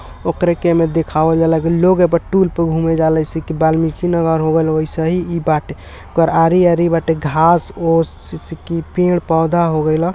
औकरा के ऐमे दिखावे जाला कि लोग टूर पर घूमे जाला आरी आरी घास फूस से की पेड़ पौधा होवेला